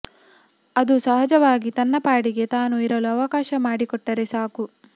ಅದು ಸಹಜವಾಗಿ ತನ್ನ ಪಾಡಿಗೆ ತಾನು ಇರಲು ಅವಕಾಶ ಮಾಡಿಕೊಟ್ಟರೆ ಸಾಕು